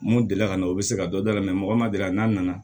Mun delila ka na u bɛ se ka dɔ dala mɔgɔ ma delila n'a nana